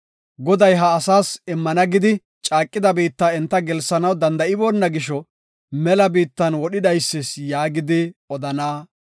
‘Goday, ha asaas immana gidi caaqida biitta enta gelsanaw danda7iboona gisho mela biittan wodhi dhaysis yaagidi’ odana.